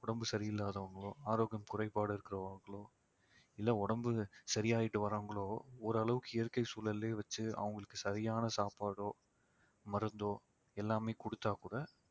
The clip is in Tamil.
உடம்பு சரியில்லாதவங்களோ ஆரோக்கியம் குறைபாடு இருக்கிறவங்களோ இல்லை உடம்பு சரியாயிட்டு வர்றவங்களோ ஓரளவுக்கு இயற்கை சூழலிலேயே வச்சு அவங்களுக்கு சரியான சாப்பாடோ மருந்தோ எல்லாமே கொடுத்தா கூட